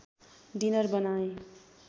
dinner बनाए